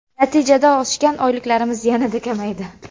Natijada oshgan oyliklarimiz yana kamaydi.